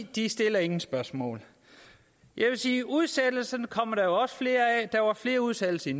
de stiller ingen spørgsmål jeg vil sige at udsættelser kommer der også flere af der var flere udsættelser i